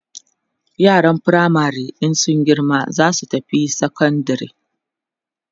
yaran firamare in sun girma zasu tafi sekondari